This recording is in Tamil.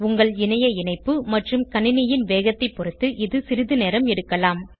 உங்கள் இணைய இணைப்பு மற்றும் கணினியின் வேகத்தைப் பொருத்து இது சிறிது நேரம் எடுக்கலாம்